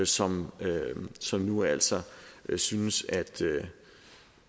som som nu altså synes